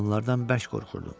Onlardan bərk qorxurdum.